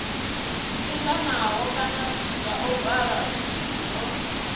linganaho kana zwa ovala zwo